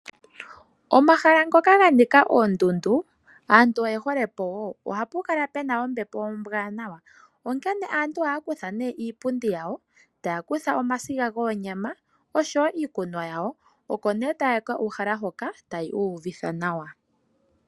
Omahala ngoka ga nika oondundu, aantu oye hole po wo. Oha pu kala pena ombepo ombwaanawa , onkene aantu ohaya kutha nduno iipundi yawo , ta ya kutha omasiga goonyama oshowo iikunwa yawo. Oko nduno ta ya ka uhala hoka ta ya iyuvitha nawa.